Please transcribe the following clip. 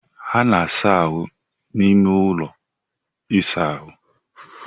A na-asa ahụ n'ime ụlọ ịsa ahụ.